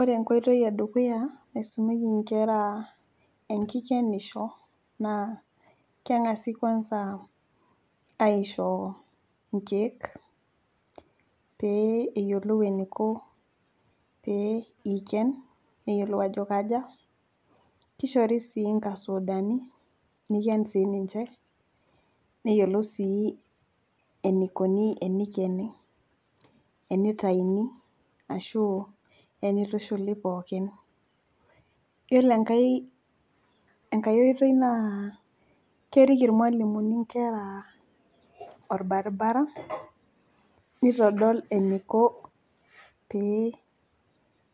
Ore enkoitoi edukuya naisumieki nkera enkikenisho naa kengasi kwanza aisho nkiek pee eyiolou eniko pee ikien neyiolou ajo kaja . Kishori sii nkasudani niken siiniche , neyiolou sii enikoni tenikeni , enitayuni ashu enitushuli pookin . Yiolo enkae, enkae oitoi naa kerik irmwalimuni inkera orbaribara nitodol eniko pee